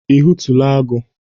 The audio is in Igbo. Ị hụtụla agụ?